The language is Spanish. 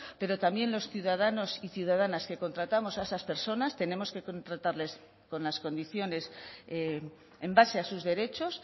pero también los ciudadanos y ciudadanas que contratamos a esas personas tenemos que contratarles con las condiciones en base a sus derechos